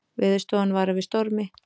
Veðurstofan varar við stormi